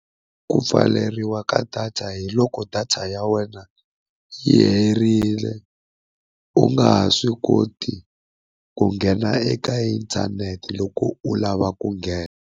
Ku pfaleriwa ka data hiloko data ya wena yi herile u nga ha swi koti ku nghena eka inthanete loko u lava ku nghena.